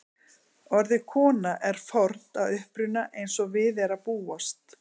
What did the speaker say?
Orðið kona er fornt að uppruna eins og við er að búast.